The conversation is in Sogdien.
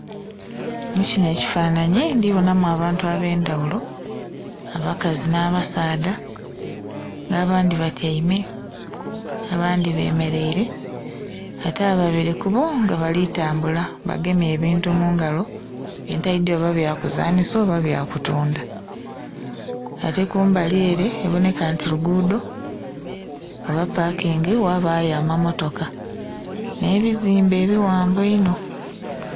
Mukinho ekifananhi ndhibonhamu abantu abendhaghulo abakazi nha basaadha nga bandhi batyaime abandhi bemereire ate ababiri kuboo nga bali tambula bagemye ebintu mungalo byentaidhi oba bya kuszanhisa oba bya kutundha . Ate kumbali ere eboneka nti lugudho oba pakingi ghabayo amamotoka nhe buzimbe ebighamvi einho.